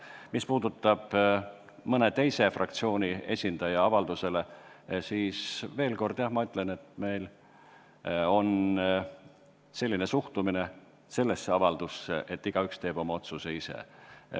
Mis puudutab mõne teise fraktsiooni esindaja arvamust, siis ütlen veel kord, et jah, meie suhtumine sellesse avaldusse on selline, et igaüks teeb oma otsuse ise.